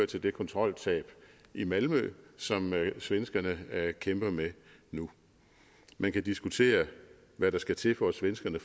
til det kontroltab i malmø som svenskerne kæmper med nu man kan diskutere hvad der skal til for at svenskerne